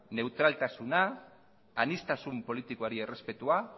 neutraltasuna aniztasun politikoari errespetua